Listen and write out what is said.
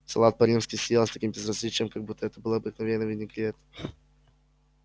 салат по-римски съел с таким безразличием как будто это был обыкновенный винегрет